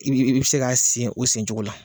I bɛ bɛ bɛ se ka sen o sen cogo la.